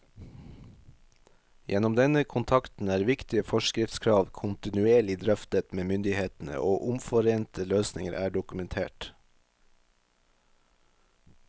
Gjennom denne kontakten er viktige forskriftskrav kontinuerlig drøftet med myndighetene, og omforente løsninger er dokumentert.